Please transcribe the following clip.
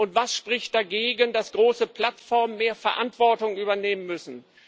Und was spricht dagegen, dass große Plattformen mehr Verantwortung übernehmen müssen?